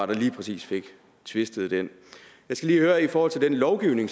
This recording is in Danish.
der lige præcis fik tvistet den jeg skal lige høre i forhold til den lovgivning